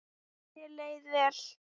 Þér leið vel.